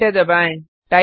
enter दबाएँ